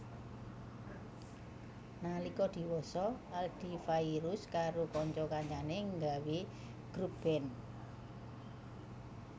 Nalika diwasa Adly Fairuz karo kanca kancané nggawé grup band